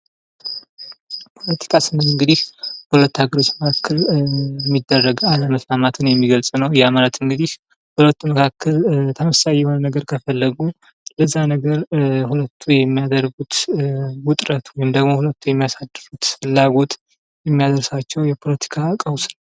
ፖለቲካ ስንል እንግዲህ በሁለት ሀገሮች መካከል ሚደረግ አለመስማማትን የሚገልፅ ነው ። ያ ማለት እንግዲህ በሁለቱ መካከል ተመሳሳይ የሆነ ነገር ከፈለጉ ለዛ ነገር ሁለቱ የሚያደርጉት ውጥረት ወይም ደግሞ ሁለቱ የሚያሳድሩት ፍላጎት የሚያደርሳቸው የፖለቲካ ቀውስ ነው ።